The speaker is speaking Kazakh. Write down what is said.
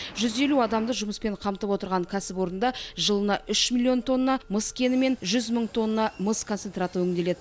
жүз елу адамды жұмыспен қамтып отырған кәсіпорында жылына үш миллион тонна мыс кені мен жүз мың тонна мыс концентраты өңделеді